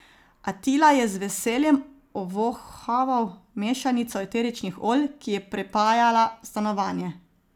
Atila je z veseljem ovohaval mešanico eteričnih olj, ki je prepajala stanovanje.